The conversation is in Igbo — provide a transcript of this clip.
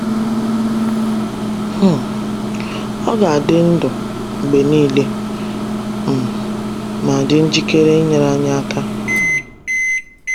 um Ọ ga-adị ndụ mgbe niile um ma dị njikere inyere anyị aka.